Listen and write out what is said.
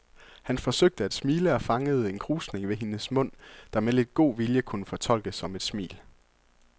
Han forsøgte at smile og fangede en krusning ved hendes mund, der med lidt god vilje kunne fortolkes som et smil.